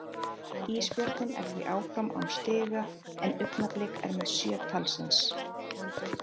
Ísbjörninn er því áfram án stiga, en Augnablik er með sjö talsins.